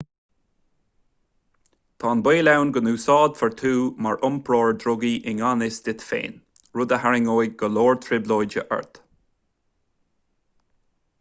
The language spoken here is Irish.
tá an baol ann go n-úsáidfear thú mar iompróir drugaí i ngan fhios duit féin rud a tharraingeodh go leor trioblóide ort